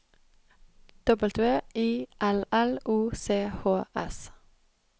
W I L L O C H S